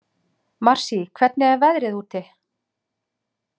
Marsý, hvernig er veðrið úti?